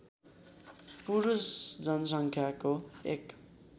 पुरुष जनसङ्ख्याको एक